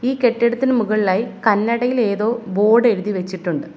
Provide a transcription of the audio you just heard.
ഈ കെട്ടിടത്തിനു മുകളിലായി കന്നട യിൽ ഏതോ ബോർഡ് എഴുതി വെച്ചിട്ടുണ്ട്.